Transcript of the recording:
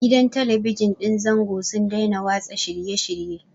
Gidan Talabijin ɗin zango sun daina watsa shirye-shirye.